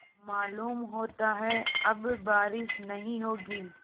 मालूम होता है अब बारिश नहीं होगी